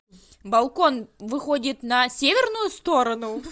балкон выходит на северную сторону